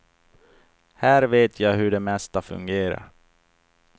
Här vet jag hur det mesta fungerar.